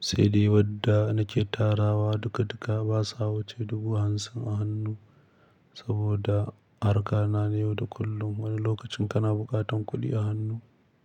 sai dai wadda nake tarawa duka-duka ba sa wuce dubu hamsin a hannu saboda harka na ne yau da kullum. Wani lokacin kana buƙatan kuɗi a hannu.